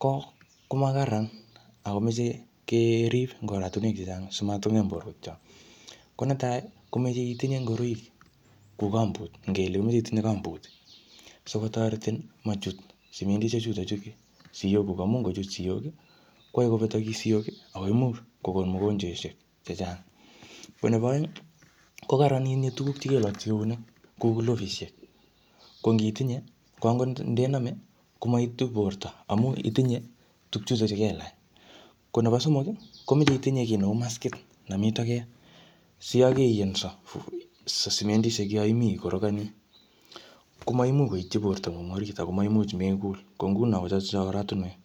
ko ko makararan, akomeche kerib eng oratunwek chechang simatkongem borto. Ko netai, komeche itinye ngoroik kuu gumboot. Ngele imeche itinye gumboot. Sikotoretin machut sementishek chutochu siyok kuk. Amu ngochut siyok, koae kobetakis siyok, akoimuch kokon mugonjweshek chechang. Ko nebo aeng, ko karaan itinye tuguk che kelakchi eunek, kou glovishek. Ko ngitinye, ko angot ndename, komaitu borto amu itinye tugchutochu kelach. Ko nebo somok, komeche itinye kiy neu maskit nemii toget. Siyakeyenso sementishek yoimi ikorogani, komaimuch koitchi borto ngung orit akomaimuch mekul. Ko nguno ko chotocho oratunwek.